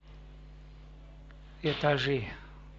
этажи